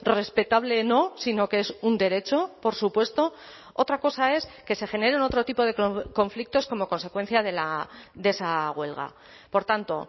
respetable no sino que es un derecho por supuesto otra cosa es que se generen otro tipo de conflictos como consecuencia de esa huelga por tanto